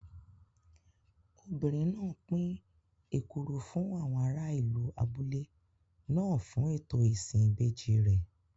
Obìnrin náà pín èkuru fún àwọn ará ìlú abúlé náà fún ètò ìsìn ìbejì rẹ̀.